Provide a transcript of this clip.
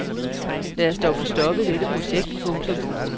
Lad os dog få stoppet dette projekt. punktum